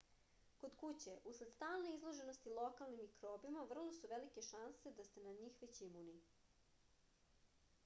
kod kuće usled stalne izloženosti lokalnim mikrobima vrlo su velike šanse da ste na njih već imuni